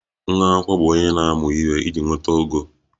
Nwa akwụkwọ bụ onye na-amụ ihe iji nweta ogo